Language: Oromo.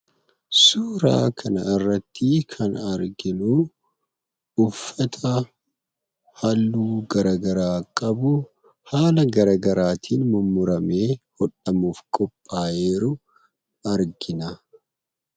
Suuraa kanarratti kan arginu uffata halluu garaagaraa qabu, haala garaagaraatiin mummuramee hodhamuuf qophaayee jiru argina.